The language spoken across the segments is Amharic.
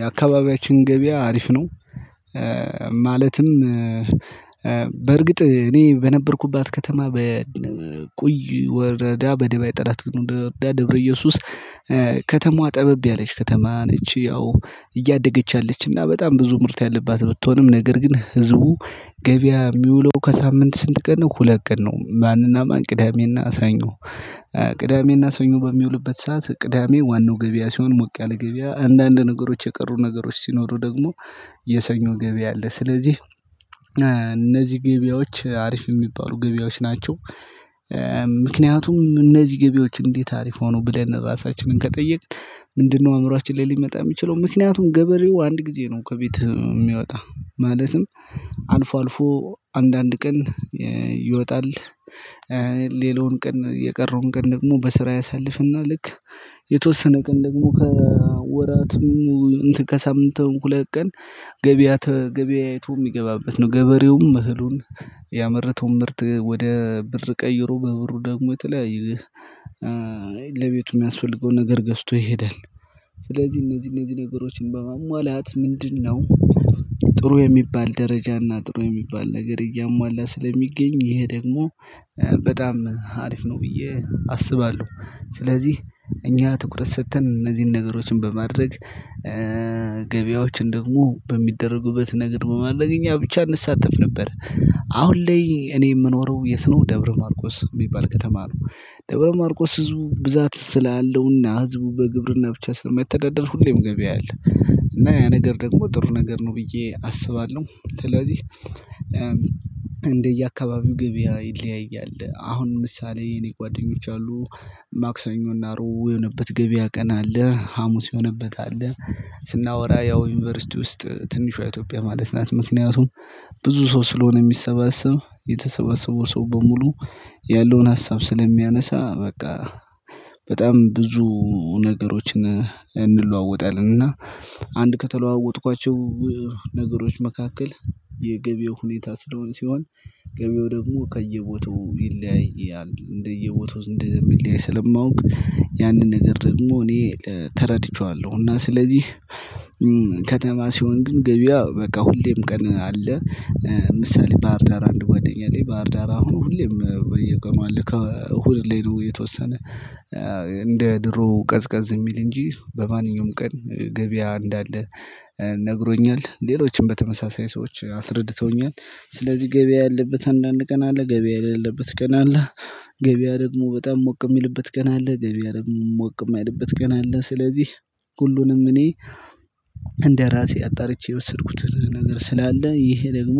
የአካባቢያችን ገበያ አሪፍ ነው። ማለትም በእርግጥ እኔ በነበርኩባት ከተማ በቁይ ወረዳ በደባይ ጠረት ግኑድ ወረዳ ደብረ እየሱስ ከተማዋ ጠበብ ያለች ከተማ ነች። ያው እያደገች ያለችና በጣም ብዙ ምርት ያለባት ብትሆንም ነገር ግን ህዝቡ ገበያ የሚውለው ከሳምንት ስንት ቀን ሁለት ቀን ነው። ማንና ማን ቅዳሜ እና ሰኞ። ቅዳሜና ሰኞ በሚውልበት ሰዓት ቅዳሜ ዋናው ገበያ ሲሆን ሞቅ ያለ ገበያ አንዳንድ ነገሮች የቀሩ ነገሮች ሲኖሩ ደግሞ የሰኞ ገበያ አለ። ስለዚህ እነዚህ ገበያዎች አሪፍ የሚባሉ ገበያዎች ናቸው። ምክንያቱም እነዚህ ገበያዎች እንዴት አሪፍ ሆኑ ብለን ራሳችንን ከጠየቅን? ምንድነው አእምሮአችን ላይ ሊመጣ የሚችለው ምክንያቱም ገበሬው አንድ ጊዜ ነው ከቤት የሚወጣ ማለትም አልፎ አልፎ አንዳንድ ቀን ይወጣል። ሌላዉን ቀን የቀረውን ቀን ደግሞ በስራ ያሳልፍና ልክ የተወሰነ ቀን ደግሞ ከወራትም ሁለት ቀን ገበያት ተገበያይቶ የሚገባበት ነው። ገበሬውም እህሉን ምርት ወደ ብር ቀይሮ በብሩ ደግሞ የተለያየ ለቤቱ የሚያስወልገውን ነገር ገዝቶ ይሄዳል። ስለዚህ እነዚህ እነዚህ ነገሮችን በማሟላት ምንድነው? ጥሩ የሚባል ደረጃና ጥሩ የሚባል ነገር እያሟላ ስለሚገኝ ይሄ ደግሞ በጣም አሪፍ ነው ብዬ አስባለሁ። ስለዚህ እኛ ትኩረት ሰጥተን እነዚህን ነገሮችን በማድረግ ገበያዎችን ደግሞ በሚደረጉበት ነገር በማድረግ እኛ ብቻ እንሳተፍ ነበር። አሁን ላይ እኔ የምኖረው የት ነው? ደብረ ማርቆስ የሚባል ከተማ ነው። ደብረ ማርቆስ ህዝቡ ብዛት ስላለውና ህዝቡ በግብርና ብቻ ስለማይተዳደር ሁሌም ገበያ አለ። እና ያ ነገር ደግሞ ጥሩ ነገር ነው ብዬ አስባለሁ። ስለዚህ እንደየአካባቢው ገበያ ይለያያል አሁን ምሳሌ እኔ ጓደኞች አሉ ማክሰኞ እና ረቡዕ የሆነበት ገበያ ቀን አለ። ሀሙስ የሆነበት አለ። ስናወራ ያው ዩኒቨርሲቲ ውስጥ ትንሹ ኢትዮጵያ ማለት ናት። ምክንያቱም ብዙ ሰው ስለሆነ የሚሰበሰብ የተሰበሰበው ሰው በሙሉ ያለውን ሀሳብ ስለሚያነሳ በቃ በጣም ብዙ ነገሮችን እንለዋወጣለን። እና አንድ ከተለዋወጥኳቸው ነገሮች መካከል የገበያው ሁኔታ ሲሆን ገበያው ደግሞ ከየቦታው ይለያያል እንደየቦታው እንደሚለያይ ስለማውቅ ያንን ነገር ደግሞ እኔ ተረድቼዋለሁ። እና ስለዚህ ከተማ ሲሆን ግን ገበያ በቃ ሁሌም ቀን አለ። ምሳሌ ባህር ዳር አንድ ጓደኛ ላይ ባህር ዳር አሁን ሁሌም በየቀኑ አለ ከእሁድ ሌላ የተወሰነ እንደ ድሮ ቀዝቀዝ የሚል እንጂ በማንኛውም ቀን ገበያ እንዳለ ነግሮኛል። ሌሎችም በተመሳሳይ ሰዎች አስረድተውኛል። ስለዚህ ገበያ ያለበት አንዳንድ ቀን አለ ገበያ የሌለበት ቀን አለ። ገበያ ደግሞ በጣም ሞቅ የሚልበት ቀን አለ ገበያ ደግሞ ሞቅ የማይልበት ቀን አለ። ስለዚህ ሁሉንም እኔ እንደራሴ አጣርቼ የወሰድኩት ነገር ስላለ ይሄ ደግሞ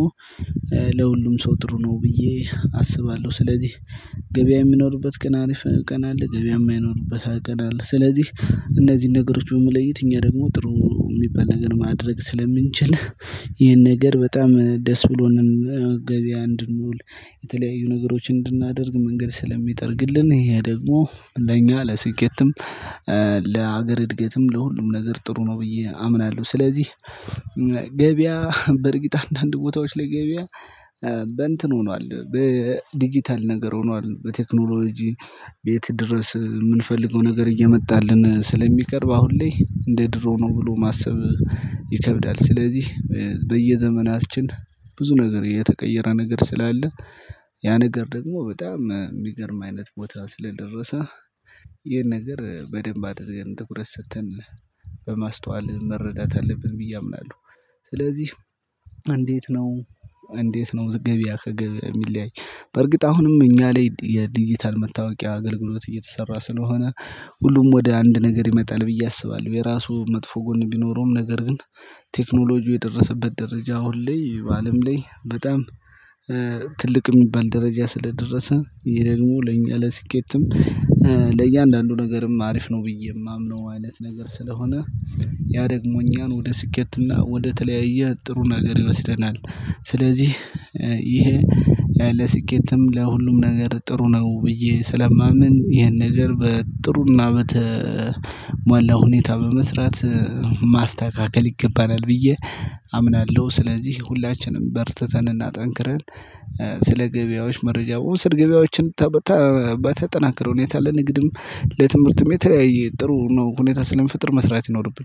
ለሁሉም ሰው ጥሩ ነው ብዬ አስባለሁ። ስለዚህ ገበያ የሚኖርበት ቀን አለ አሪፍ ቀን አለ ገበያ የማይኖርበት ቀን አለ። ስለዚህ እነዚህን ነገሮች በመለየት እኛ ደግሞ ጥሩ የሚባል ነገር ማድረግ ስለምንችል። ይሄን ነገር በጣም ደስ ብሎን ገበያ እንድንውል የተለያዩ ነገሮችን እንድናደርግ መንገድ ስለሚጠርግልን ይሄ ደግሞ ለእኛ ለስኬትም ለሀገር እድገትም ለሁሉም ነገር ጥሩ ነው ብዬ አምናለሁ። ስለዚህ ገበያ በእርግጥ አንዳንድ ቦታዎች ላይ ገበያ በእንትን ሆኗል በዲጂታል ነገር ሆኗል። በቴክኖሎጂ ቤት ድረስ የምንፈልገው ነገር እየመጣልን ስለሚቀርብ አሁን ላይ እንደ ድሮ ነው ብሎ ማሰብ ይከብዳል። ስለዚህ በየዘመናችን ብዙ ነገር የተቀየረ ነገር ስላለ ያ ነገር ደግሞ በጣም የሚገርም አይነት ቦታ ስለደረሰ ይሄን ነገር በደንብ አድርገን ትኩረት ሰጥተን በማስተዋል መረዳት አለብን ብዬ አምናለሁ። ስለዚህ እንዴት ነው? እንዴት ነው ገበያህ የሚለያይ? በዕርግጥ አሁንም እኛ ላይ የዲጂታል መታወቂያ አገልግሎት እየተሰራ ስለሆነ ሁሉም ወደ አንድ ነገር ይመጣል ብዬ አስባለሁ። የራሱ መጥፎ ጎን ቢኖረውም ነገር ግን ቴክኖሎጂው የደረሰበት ደረጃ አሁን ላይ በአለም ላይ በጣም ትልቅ የሚባል ደረጃ ስለደረሰ ይሄ ደግሞ ለኛ ለስኬትም ለእያንዳንዱ ነገርም አሪፍ ነው። ብዬ የማምነው አይነት ነገር ስለሆነ ያ ደግሞ እኛን ወደ ስኬትና ወደ ተለያየ ጥሩ ነገር ይወስደናል። ስለዚህ ይሄ ለስኬትም ለሁሉም ነገር ጥሩ ነው ብዬ ስለማምን ይሄን ነገር በጥሩና በተሟላ ሁኔታ በመስራት ማስተካከል ይገባናል። ብዬ አምናለሁ። ስለዚህ ሁላችንም በርትተንና ጠንክረን ስለ ገበያዎች መረጃ መዉሰድ ገበያዎችን በተጠናከረ ሁኔታ ለንግድም ለትምህርትም የተለያየ ጥሩ ነው ሁኔታ ስለሚፈጥር መስራት ይኖርብናል